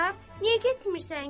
Niyə getmirsən ki?